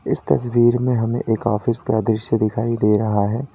इस तस्वीर में हमें एक ऑफिस का दृश्य दिखाई दे रहा है।